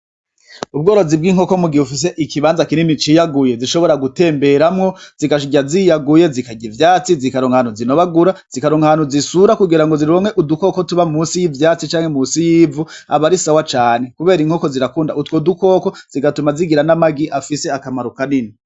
Ubworozi bw'inkoko mu gihe bufise ikibanza kinini ciyaguye zishobora gutemberamwo zigashirya ziyaguye zikarya ivyatsi zikaronkanu zinobagura zikaronkanu zisura kugira ngo ziromwe udukoko tuba musi y'ivyatsi canke musi yivu aba arisawa cane, kubera inkoko zirakunda utwo dukoko zigatuma zigira n'amagi afise akamaru kanini.